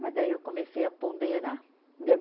Mas daí eu comecei a ponderar.